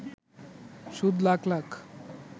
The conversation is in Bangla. সুদ লাখ লাখ